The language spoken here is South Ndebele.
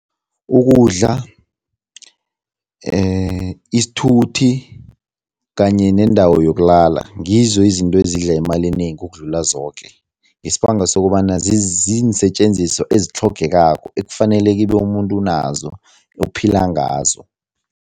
Ukudla, isithuthi kanye nendawo yokulala, ngizo izinto ezidla imali enengi ukudlula zoke, ngesibanga sokobana ziinsetjenziswa ezitlhogekako ekufaneleke ikhibe umuntu unazo, uphila ngazo.